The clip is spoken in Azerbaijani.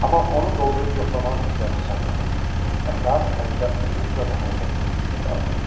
Amma onu doldurub yoxlamağa hövsələsi çatmadı və saat əlində uzun-uzadı hərəkətsiz düşüb qaldı.